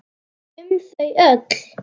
Um þau öll.